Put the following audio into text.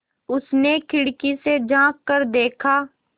उसने खिड़की से झाँक कर देखा